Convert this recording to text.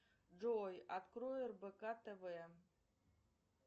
джой открой рбк тв